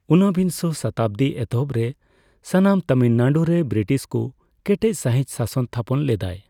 ᱩᱱᱵᱤᱝᱥᱚ ᱥᱚᱛᱟᱵᱫᱤ ᱮᱛᱚᱦᱚᱵᱨᱮ, ᱥᱟᱱᱟᱢ ᱛᱟᱢᱤᱞᱱᱟᱲᱩᱨᱮ ᱵᱨᱤᱴᱤᱥ ᱠᱩ ᱠᱮᱴᱮᱡᱥᱟᱹᱦᱤᱡ ᱥᱟᱥᱚᱱ ᱛᱷᱟᱯᱚᱱ ᱞᱮᱫᱟᱭ᱾